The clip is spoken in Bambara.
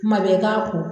Kuma bɛɛ i k'a ko